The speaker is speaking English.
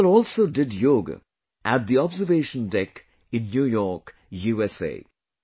People also did Yoga at the Observation Deck in New York, USA